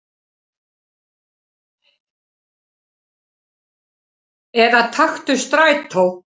Eða taktu strætó.